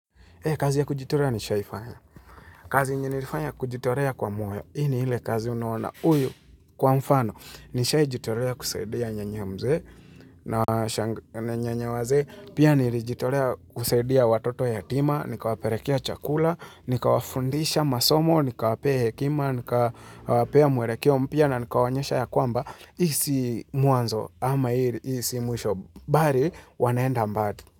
Kazi ya kujitolea nishawahi fanya kazi nimeifanya kujitolea kwa moyo, hii ni ile kazi unaona huyu kwa mfano, Nishawahi jitolea kusaidia nyanya mzee na nyanya wazee Pia nilijitolea kusaidia watoto yatima, nikawapelekea chakula, nikawafundisha masomo, nikawapa hekima, nikawapa mwelekeo mpya na nikawaonyesha ya kwamba Hii sio mwanzo ama hii sio mwisho bali wanaenda mbali.